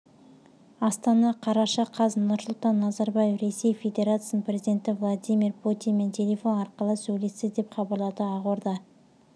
астана қараша қаз нұрсұлтан назарбаев ресей федерациясының президенті владимир путинмен телефон арқылы сөйлесті деп хабарлады ақорда